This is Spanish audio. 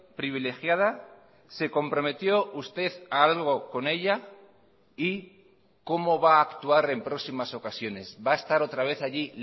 privilegiada se comprometió usted a algo con ella y cómo va a actuar en próximas ocasiones va a estar otra vez allí